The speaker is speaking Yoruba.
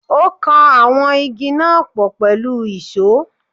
Ó kan àwọn Igi náà pọ̀ pẹ̀lú ìsó.